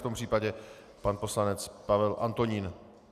V tom případě pan poslanec Pavel Antonín.